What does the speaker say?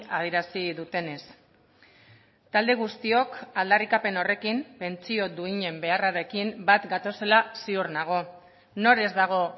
adierazi dutenez talde guztiok aldarrikapen horrekin pentsio duinen beharrarekin bat gatozela ziur nago nor ez dago